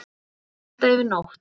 Látið standa yfir nótt.